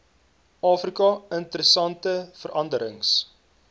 afrika interessante veranderings